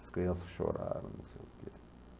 As crianças choraram, não sei o quê.